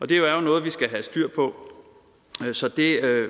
det er jo noget vi skal have styr på så det er